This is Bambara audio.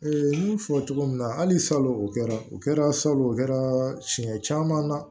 n y'a fɔ cogo min na hali salon o kɛra o kɛra salon o kɛra siɲɛ caman na